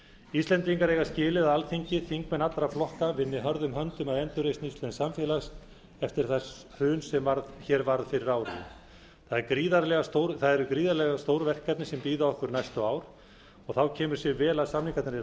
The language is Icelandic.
íslendingar eiga skilið að alþingi þingmenn allra flokka vinni hörðum höndum að endurreisn íslensks samfélags eftir það hrun sem hér varð fyrir ári gríðarlega stór verkefni bíða okkar næstu ár og þá kemur sér vel að samningarnir eru